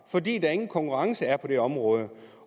fordi der ingen konkurrence er på det område